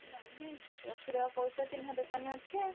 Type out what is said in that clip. ନାଇଁ ନାଇଁ ରଖି ଦବା କହୁଛ ଚିହ୍ନା ଦୋକାନ ଅଛି ଆଉ।